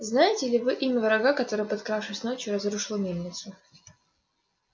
знаете ли вы имя врага который подкравшись ночью разрушил мельницу